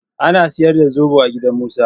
Ana saida sobo a gidan su Musa.